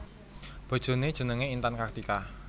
Bojoné jenengé Intan Kartika